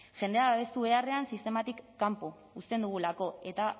jendea babestu beharrean sistematik kanpo uzten dugulako eta